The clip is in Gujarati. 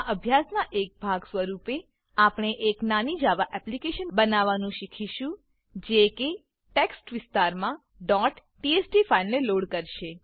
આ અભ્યાસનાં એક ભાગ સ્વરૂપે આપણે એક નાની જાવા એપ્લીકેશન બનાવવાનું શીખીશું જે કે ટેક્સ્ટ વિસ્તારમાં txt ફાઈલને લોડ કરશે